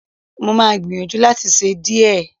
Mo máa gbìyànjú láti ṣe díẹ̀